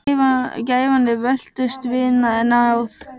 Gæfan er völtust vina, en náð